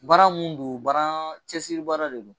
Bara mun don cɛsiribaara de don.